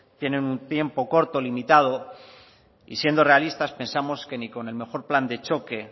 tienen un tiempo corto limitado y siendo realistas pensamos que ni con el mejor plan de choque